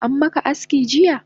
Ammaka aski jiya?